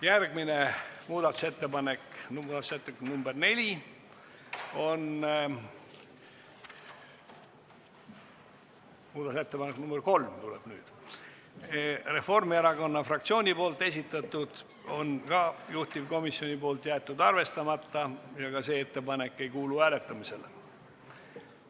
Järgmine muudatusettepanek, muudatusettepanek nr 3, on Reformierakonna fraktsiooni esitatud, on juhtivkomisjonil jäetud arvestamata ja ka see ettepanek ei kuulu hääletamisele.